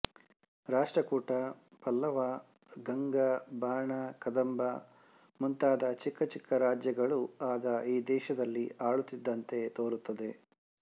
ರಾಷ್ಟ್ರಕೂಟ ಪಲ್ಲವ ಗಂಗ ಬಾಣ ಕದಂಬ ಮುಂತಾದ ಚಿಕ್ಕ ಚಿಕ್ಕ ರಾಜ್ಯಗಳು ಆಗ ಈ ದೇಶದಲ್ಲಿ ಆಳುತ್ತಿದ್ದಂತೆ ತೋರುತ್ತದೆ